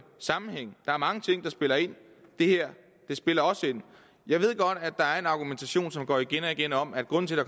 sammenhæng der er mange ting der spiller ind det her spiller også ind jeg ved godt at der er en argumentation som går igen om at grunden til at